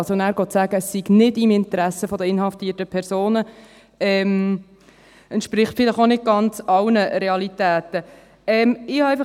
Nachher zu sagen, es sei nicht im Interesse der inhaftierten Personen, entspricht vielleicht auch nicht ganz allen Realitäten.